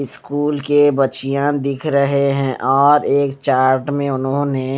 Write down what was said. school के बच्चियां दिख रहे हैं और एक चार्ट में उन्होंने--